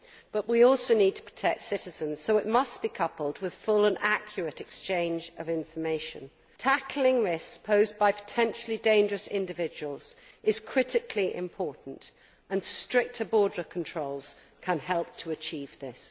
but we also need to protect citizens, so it must be coupled with full and accurate exchange of information. Tackling risks posed by potentially dangerous individuals is critically important and stricter border controls can help to achieve this.